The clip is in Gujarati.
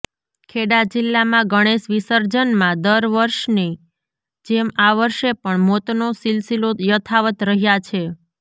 ખેડા જિલ્લામાં ગણેશ વિસર્જનમાં દર વર્ષની જેમ આ વર્ષે પણ મોતનો સિલસીલો યથાવત્ રહ્યા છે